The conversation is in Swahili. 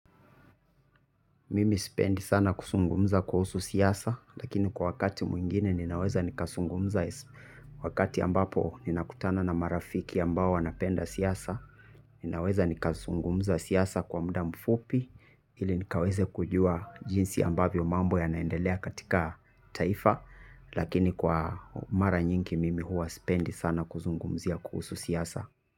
Mimi sipendi sana kusungumza kuhusu siasa lakini kwa wakati mwingine ninaweza nikasungumza wakati ambapo ninakutana na marafiki ambao wanapenda siasa. Ninaweza nikazungumza siasa kwa muda mfupi ili nikaweze kujua jinsi ambavyo mambo yanaendelea katika taifa lakini kwa mara nyingi mimi huwa sipendi sana kuzungumzia kuhusu siasa.